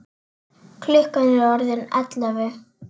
Klukkan er orðin ellefu.